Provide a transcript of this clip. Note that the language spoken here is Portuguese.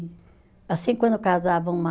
Assim quando casava uma